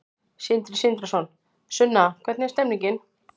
Sindri Sindrason: Sunna, hvernig er stemningin?